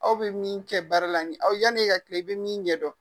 Aw bɛ min kɛ baara la nin ye aw yani e ka tilan i bɛ min ɲɛ dɔn.